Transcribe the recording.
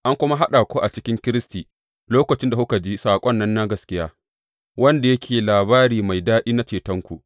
An kuma haɗa ku a cikin Kiristi lokacin da kuka ji saƙon nan na gaskiya, wanda yake labari mai daɗi na cetonku.